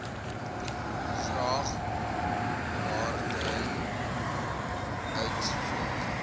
graag waardering uitspreek